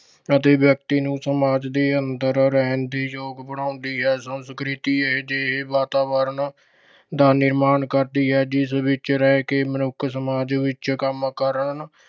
ਅਤੇ ਵਿਅਕਤੀ ਨੂੰ ਸਮਾਜ ਦੇ ਅੰਦਰ ਰਹਿਣ ਦੇ ਯੋਗ ਬਣਾਉਂਦੀ ਹੈ। ਸੰਸਕ੍ਰਿਤ ਹੀ ਇਹੇ ਜਿਹੇ ਵਾਤਾਵਰਣ ਦਾ ਨਿਰਮਾਣ ਕਰਦੀ ਹੈ ਜਿਸ ਵਿੱਚ ਰਹਿ ਕੇ ਮਨੁੱਖ ਸਮਾਜ ਵਿੱਚ ਕੰਮ ਕਰਨ